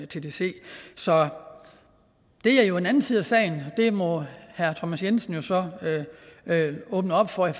tdc så det er jo en anden side af sagen og det må herre thomas jensen jo så åbne op for i